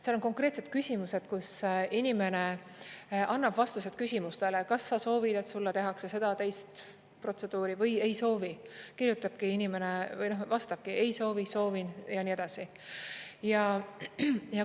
Seal on konkreetsed küsimused, kus inimene annab vastused küsimustele, kas sa soovid, et sulle tehakse seda-teist protseduuri või ei soovi, kirjutabki inimene, vastabki: ei soovi, soovin, ja nii edasi.